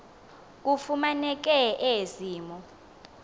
kufumaneke ezi mo